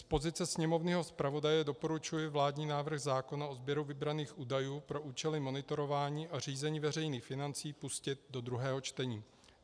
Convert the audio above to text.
Z pozice sněmovního zpravodaje doporučuji vládní návrh zákona o sběru vybraných údajů pro účely monitorování a řízení veřejných financí pustit do druhého čtení.